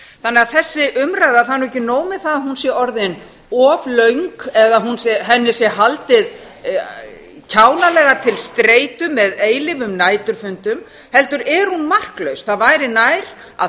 er ekki nóg með að þessi umræða sé orðin of löng eða henni sé haldið kjánalega til streitu með eilífum næturfundum heldur er hún marklaus það væri nær að